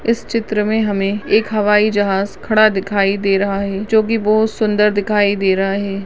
इस चित्र में हमें एक हवाई जहाज खड़ा दिखाई दे रहा है जो की बहुत सुंदर दिखाई दे रहा है।